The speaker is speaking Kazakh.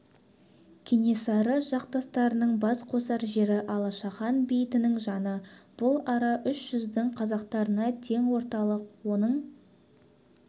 кенесары жасақтарының бас қосар жері алашахан бейітінің жаны бұл ара үш жүздің қазақтарына тең орталық оның